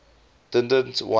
didn t want